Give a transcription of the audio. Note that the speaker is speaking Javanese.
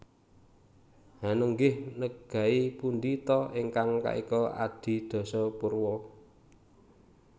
Hanenggih negai pundi ta ingkang kaeka adi dasa purwa